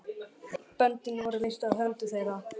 Böndin voru leyst af höndum þeirra.